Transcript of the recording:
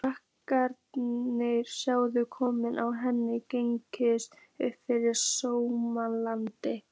Krakkarnir sáu kollinn á henni gægjast upp fyrir Stóratind.